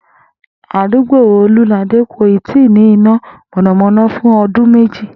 Àdúgbò Olúnládé kò ì tíì nĩ iná mò̩nàmó̩ná fún o̩dún méjì